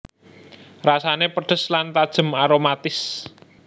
Rasané pedhes lan tajem aromatis